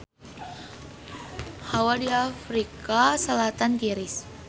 Hawa di Afrika Selatan tiris